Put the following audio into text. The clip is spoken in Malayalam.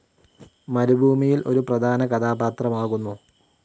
മരുഭൂമിയിൽ ഒരു പ്രധാന കഥാപാത്രമാകുന്നു.